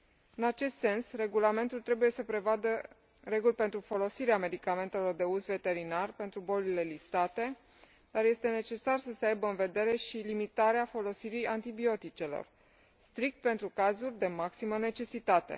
În acest sens, regulamentul trebuie să prevadă reguli pentru folosirea medicamentelor de uz veterinar pentru bolile listate, dar este necesar să se aibă în vedere și limitarea folosirii antibioticelor, strict pentru cazuri de maximă necesitate.